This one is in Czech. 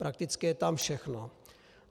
Prakticky je tam všechno.